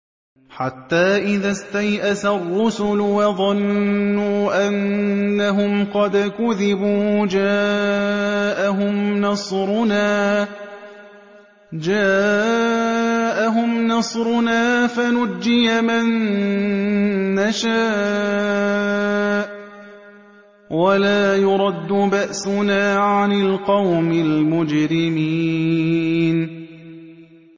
حَتَّىٰ إِذَا اسْتَيْأَسَ الرُّسُلُ وَظَنُّوا أَنَّهُمْ قَدْ كُذِبُوا جَاءَهُمْ نَصْرُنَا فَنُجِّيَ مَن نَّشَاءُ ۖ وَلَا يُرَدُّ بَأْسُنَا عَنِ الْقَوْمِ الْمُجْرِمِينَ